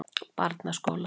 Barnaskóla